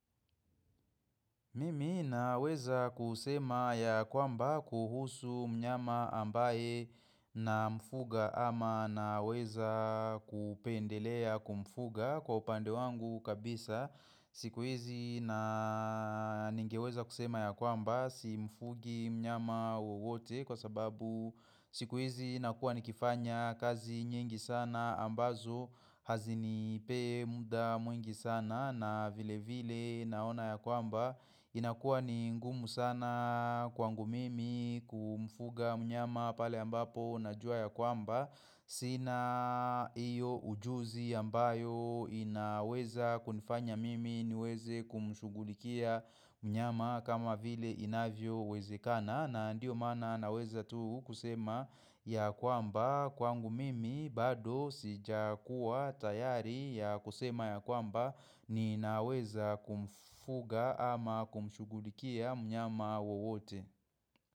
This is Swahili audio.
Mimi naweza kusema ya kwamba kuhusu mnyama ambaye namfuga ama naweza kupendelea kumfuga kwa upande wangu kabisa siku hizi na ningeweza kusema ya kwamba si mfugi mnyama wowote kwa sababu siku hizi nakuwa nikifanya kazi nyingi sana ambazo hazinipei muda mwingi sana na vile vile naona ya kwamba inakuwa ni ngumu sana kwangu mimi kumfuga mnyama pale ambapo najua ya kwamba Sina hiyo ujuzi ambayo inaweza kunifanya mimi niweze kumshughulikia mnyama kama vile inavyowezekana na ndiyo maana naweza tu kusema ya kwamba kwangu mimi bado sijakuwa tayari ya kusema ya kwamba ninaweza kumfuga ama kumshughulikia mnyama wowote.